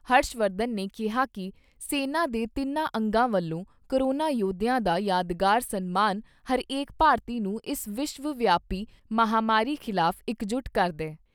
ਹਰਸ਼ਵਰਧਨ ਨੇ ਕਿਹਾ ਕਿ ਸੈਨਾ ਦੇ ਤਿੰਨਾ ਅੰਗਾਂ ਵੱਲੋਂ ਕੋਰੋਨਾ ਯੋਧਿਆਂ ਦਾ ਯਾਦਗਾਰ ਸਨਮਾਨ ਹਰੇਕ ਭਾਰਤੀ ਨੂੰ ਇਸ ਵਿਸ਼ਵ ਵਿਆਪੀ ਮਹਾਂਮਾਰੀ ਖਿਲਾਫ ਇੱਕਜੁਟ ਕਰਦਾ ਹੈ।